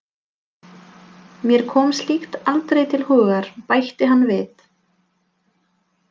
Mér kom slíkt aldrei til hugar, bætti hann við.